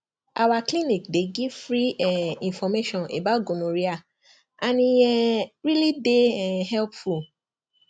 our clinic dey give free um information about gonorrhea and e um really dey um helpful